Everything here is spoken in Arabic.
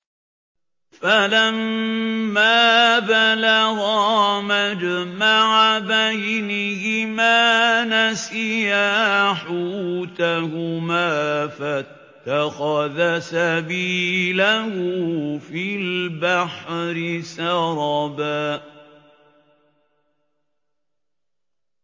فَلَمَّا بَلَغَا مَجْمَعَ بَيْنِهِمَا نَسِيَا حُوتَهُمَا فَاتَّخَذَ سَبِيلَهُ فِي الْبَحْرِ سَرَبًا